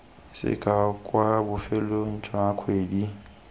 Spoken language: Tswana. sekao kwa bofelong jwa kgwedi